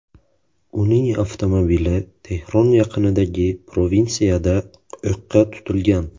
Uning avtomobili Tehron yaqinidagi provinsiyada o‘qqa tutilgan.